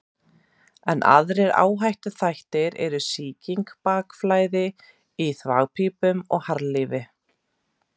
Enn aðrir áhættuþættir eru sykursýki, bakflæði í þvagpípum og harðlífi.